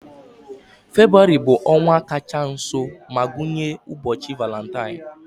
Febụwarị bụ ọnwa kacha nso ma gụnye ụbọchị Valentine.